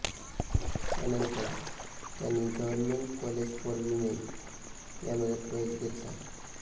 त्यानंतर त्यांनी government college for women यामध्ये प्रवेश घेतला